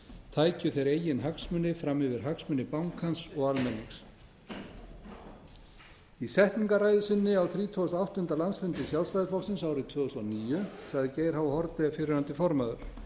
tækju þeir eigin hagsmuni fram yfir hagsmuni bankans og almennings í setningarræðu sinni á þrítugasta og áttunda landsfundi sjálfstæðisflokksins árið tvö þúsund og níu sagði geir h haarde fyrrverandi formaður